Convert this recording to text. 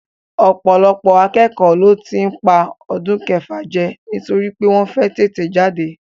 Ọ̀pọ̀lọpọ̀ akẹ́kọ̀ọ́ ló tí ń pa ọdún kẹfà jẹ nítorí pé wọ́n fẹ́ tètè jáde